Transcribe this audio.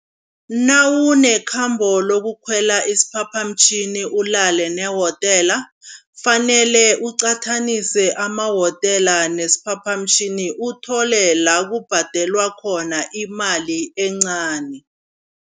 Nawunekhambo lokukhwela isiphaphamtjhini ulale ne-hotel, fanele uqathanise ama-hotel nesiphaphamtjhini uthole la kubhadelwa khona imali encani.